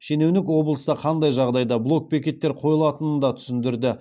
шенеунік облыста қандай жағдайда блок бекеттер қойылатынын да түсіндірді